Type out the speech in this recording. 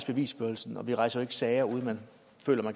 bevisførelsen og vi rejser jo ikke sager uden